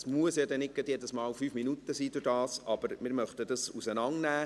Es müssen nicht immer fünf Minuten sein, aber wir möchten sie auseinandernehmen.